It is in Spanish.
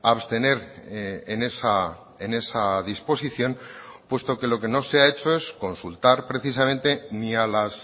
a abstener en esa disposición puesto que lo que no se ha hecho es consultar precisamente ni a las